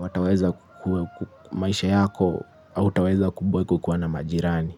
wataweza ku maisha yako hautaweza kuboeka ukiwa na majirani.